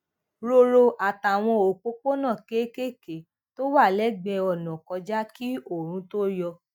róró àtàwọn òpópónà kéékèèké tó wà légbèé ònà kọjá kí oòrùn tó yọ